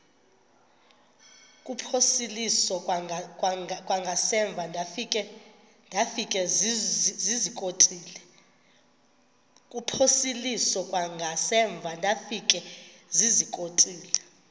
kuphosiliso kwangaemva ndafikezizikotile